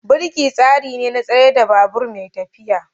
Birki tsari ne na tsayar da babur mai tafiya.